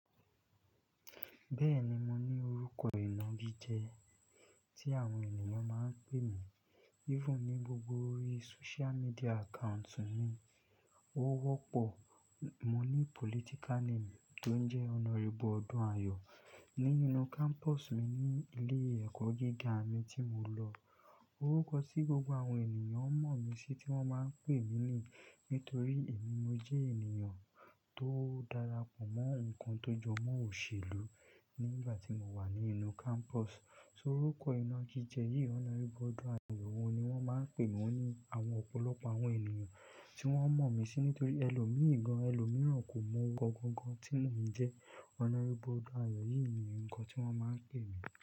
Bẹ́ẹ̀ni, mo ní orúkọ ìnagíjẹ tí àwọn ènìyàn máa ń pè mí. Even ní gbogbo ori social media accounts mi, ó wọ́pọ̀. Mo ní political name tón jẹ́ Honorable Odunayo ní inú campus mi ní ilé ẹ̀kọ́ gíga mi tí mo lọ. Orúkọ tí gbogbo àwọn ènìyàn mọ̀ mí sí tí wọ́n máa ń pè mí nì. Nítorí èmi mo jẹ́ ènìyàn tó darapọ̀ mọ́ nnkan tó jọmọ́ òṣèlú nígbà tí mo wà ní inú campus. So orúkọ ìnagíjẹ yí Honorable Odunayo, òun ni wọ́n máa ń pè mí ní àwọn ọ̀pọ̀lọpọ̀ àwọn ènìyàn tí wọ́n mọ̀ mí sí nítorí ẹlòmíì gan, ẹlòmíràn kò mọ oruko tí mò ń jẹ́. Honorable Odunayo, yìí ni oruko tí wọ́n máa ń pè mí.